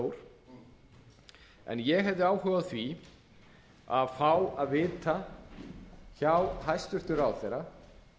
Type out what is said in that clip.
en ég hefði áhuga á því að fá að vita hjá hæstvirtum ráðherra